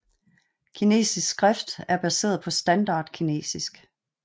Kinesisk skrift er baseret på standard kinesisk